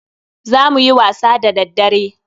Za muyi wasa da daddare.